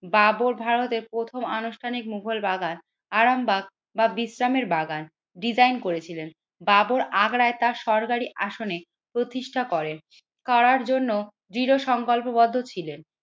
বাবর ভারতে প্রথম আনুষ্ঠানিক মুঘল বাগান আরামবাগ বা বিশ্রামের বাগান ডিজাইন করেছিলেন। বাবর আগ্রায় তার সরকারি আসনে প্রতিষ্ঠা করেন করার জন্য দৃঢ় সংকল্পবদ্ধ ছিলেন।